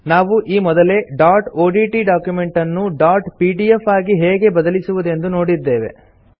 ನಾವು ಈ ಮೊದಲೇ ಡಾಟ್ ಒಡಿಟಿ ಡಾಕ್ಯುಮೆಂಟ್ ಅನ್ನು ಡಾಟ್ ಪಿಡಿಎಫ್ ಆಗಿ ಹೇಗೆ ಬದಲಿಸುವುದೆಂದು ನೋಡಿದ್ದೇವೆ